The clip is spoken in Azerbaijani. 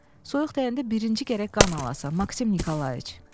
Soyuq dəyəndə birinci gərək qan alasan, Maksim Nikolayiç.